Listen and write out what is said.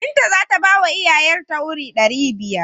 Binta za ta bawa iyaye ta wuri ɗari biyar.